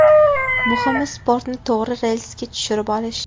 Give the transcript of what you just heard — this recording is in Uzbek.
Muhimi sportni to‘g‘ri relsga tushirib olish.